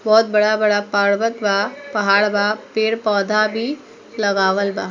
बोहोत बड़ा-बड़ा पर्वत बा पहाड़ बा पेड़-पौधा भी लगावल बा।